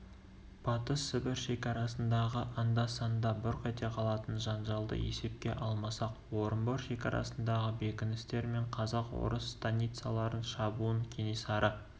батыс сібір шекарасындағы анда-санда бұрқ ете қалатын жанжалды есепке алмасақ орынбор шекарасындағы бекіністер мен казак-орыс станицаларын шабуын кенесары